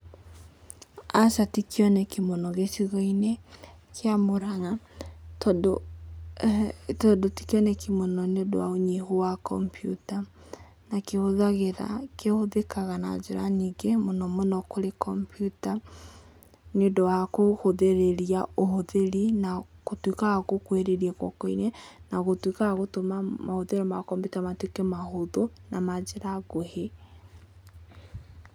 Aca tikĩoneki mũno gĩcigo-inĩ kĩa Mũrang'a, tondũ tikĩoneki mũno nĩ ũndũ wa ũnyihu wa kompiuta. Na kĩhũthĩkaga na njĩra nyingĩ, mũno mũno kũrĩ kompiuta, nĩ ũndũ wa gũkũhũthĩria ũhũthĩri na gũtuĩkaga wa gũkuhĩrĩria guoko-inĩ, na gũtuĩka wa gũtũma mahũthĩro makompiuta matuĩke mahũthũ, na manjĩra nguhĩ.